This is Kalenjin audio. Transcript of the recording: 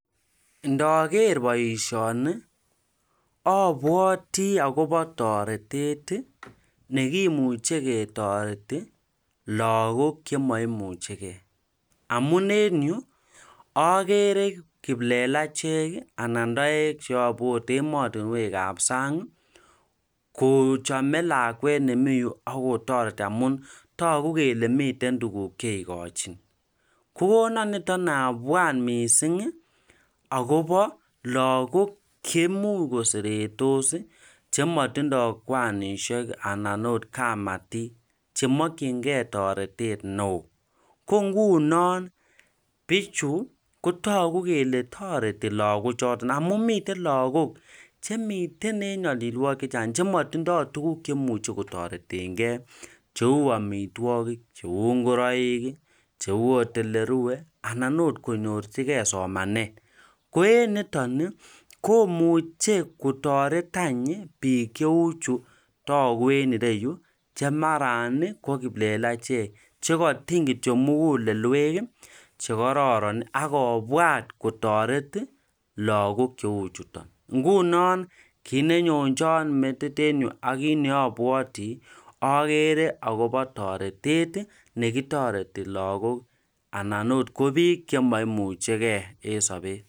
ndaager boisioni abwati akobo toretet nekimuche ketoret lagook chemaimuchegei. amunenyu ageere kiplelachek anan taek cheabot ematunwek ap sang' kochame lakwet nemi yu akotoreti amun toku kele miten tuguk cheigochin. kokona niton abwat miising' akobo lagook cheimuch koseretos chematindoi kwanisiek anan otkamatik chemakchingei toretet neoo. ko ngunon biichu kotoku kele toreti lagoochotok amu mite lagook chemite en nyalilwogik chematindoi tuguk chemuchi kotoretengei cheu amitwogik, cheu ngoroik, cheu otolerue anan ot konyorchigei somanet, koeeneton komuche kotoretany biikcheuchu toku enreyu chemaran ko kiplelachek chekatiny kityo mugulelwek chekororon akobwat kotoret lagook cheuchutok. ngunon kiinenyonjoi in metitenyu ak kiit neabwati, ageere akobo toretet nekitoreti lagook anan ot ko biik chemaimuchegei en sabet